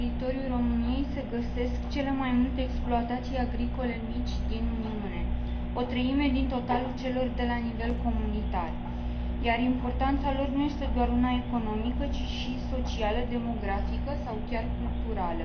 Pe teritoriul României se găsesc cele mai multe exploatații agricole mici din Uniune, o treime din totalul celor de la nivel comunitar, iar importanța lor nu este doar una economică, ci și socială, demografică sau chiar culturală.